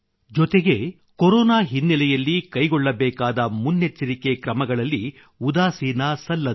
ಜೊತೆಗೆ ಕೊರೊನಾ ಹಿನ್ನೆಲೆಯಲ್ಲಿ ಕೈಗೊಳ್ಳಬೇಕಾದ ಮುನ್ನೆಚ್ಚರಿಕೆ ಕ್ರಮಗಳಲ್ಲಿ ಉದಾಸೀನ ಸಲ್ಲದು